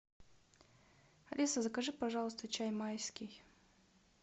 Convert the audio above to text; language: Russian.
алиса закажи пожалуйста чай майский